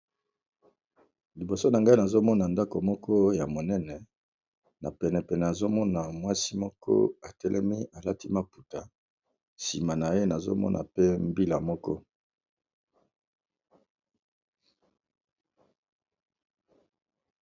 liboso na ngai nazomona ndako moko ya monene na penepene azomona mwasi moko atelemi alati maputa nsima na ye nazomona pe mbila moko